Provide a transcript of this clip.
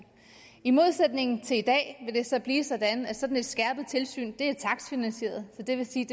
i modsætning til i dag vil det så blive sådan at sådan et skærpet tilsyn er takstfinansieret og det vil sige